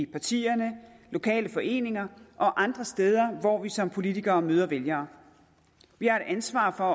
partierne lokale foreninger og andre steder hvor vi som politikere møder vælgere vi har et ansvar for